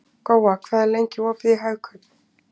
Góa, hvað er lengi opið í Hagkaup?